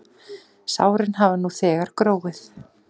Sárin hafa nú þegar gróið.